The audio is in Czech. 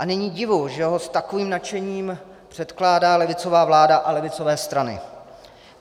A není divu, že ho s takovým nadšením předkládá levicová vláda a levicové strany.